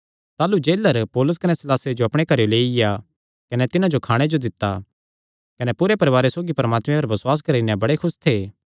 ताह़लू जेलर पौलुस कने सीलासे जो अपणे घरेयो लेईआ कने तिन्हां जो खाणे जो दित्ता कने पूरे परवारे सौगी परमात्मे पर बसुआस करी नैं बड़े खुस थे